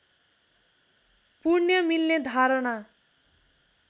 पुण्य मिल्ने धारणा